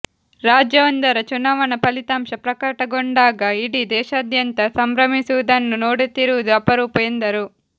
ರಾಜ್ಯವೊಂದರ ಚುನಾವಣಾ ಫಲಿತಾಂಶ ಪ್ರಕಟಗೊಂಡಾಗ ಇಡೀ ದೇಶಾದ್ಯಂತ ಸಂಭ್ರಮಿಸುವುದನ್ನು ನೋಡುತ್ತಿರುವುದು ಅಪರೂಪ ಎಂದರು